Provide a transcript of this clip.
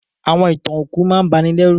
Àwọn ìtàn òkú máà n banilérù